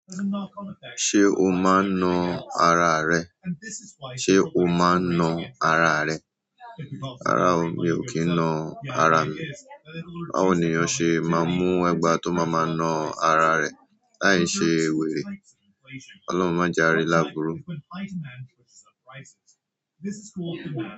Ṣé o máa ń nu ara rẹ? Ṣé o máa ń na ara rẹ? Rárá o, mi ò kì í nu ara mi. Báwo ni ènìyàn ṣe máa mú ẹ̀gbà tó máa màa na ara rẹ̀? Láì ṣe wèrè. Ọlọ́run máa já ri lábúru.